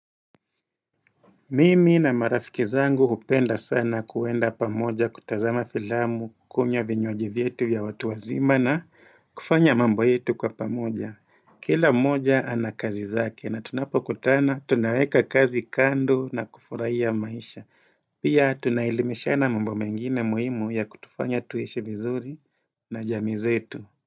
Mimi na marafiki zangu hupenda sana kuenda pamoja kutazama filamu, kukunywa vinywaji vyetu ya watu wazima na kufanya mambo yetu kwa pamoja. Kila mmoja ana kazi zake na tunapokutana tunaweka kazi kando na kufurahia maisha. Pia tunaelimishana mambo mengine muhimu ya kutufanya tuishi vizuri na jamii zetu.